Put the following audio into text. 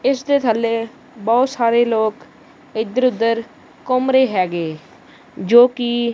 ਇਸ ਦੇ ਥੱਲੇ ਬਹੁਤ ਸਾਰੇ ਲੋਕ ਇਧਰ ਉਧਰ ਘੁੰਮ ਰਹੇ ਹੈਗੇ ਜੋ ਕਿ--